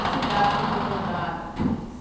As cidades que foi inundadas.